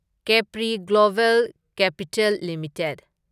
Capri global capital limited